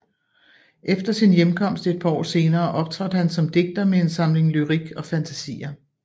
Efter sin hjemkomst et par år senere optrådte han som digter med en samling Lyrik och fantasier